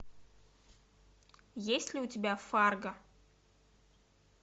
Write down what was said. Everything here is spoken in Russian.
есть ли у тебя фарго